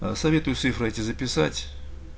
ээ советую цифры эти записать